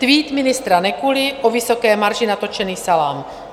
Tweet ministra Nekuly o vysoké marži na točený salám.